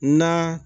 Na